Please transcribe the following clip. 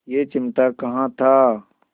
यह चिमटा कहाँ था